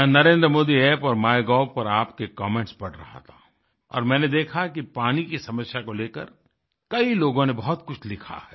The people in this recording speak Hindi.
मैं नरेंद्रमोदी App और माइगोव पर आपके कमेंट्स पढ़ रहा था और मैंने देखा कि पानी की समस्या को लेकर कई लोगों ने बहुत कुछ लिखा है